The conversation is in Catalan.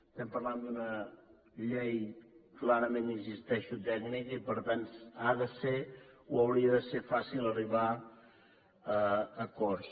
estem parlant d’una llei clarament hi insisteixo tècnica i per tant ha de ser o hauria de ser fàcil arribar a acords